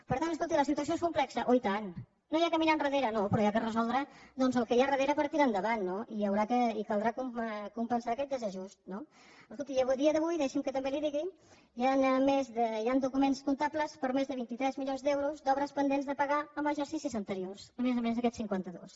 per tant escolti la situació és complexa oi tant no s’ha de mirar enrere no però s’ha de resoldre doncs el que hi ha darrere per tirar endavant no i caldrà compensar aquest desajust no escolti i a dia d’avui deixi’m que també li ho digui hi han documents comptables per més de vint tres milions d’euros d’obres pendents de pagar en exercicis anteriors a més a més d’aquests cinquanta dos